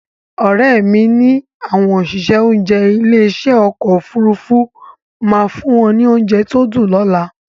Òrẹ́mi ní àwọn òṣìṣẹ́ oúnjẹ ilé ìṣe ọkọ̀ Òfurufú máa fún wọn ní oúnjẹ tó dùn lọ́la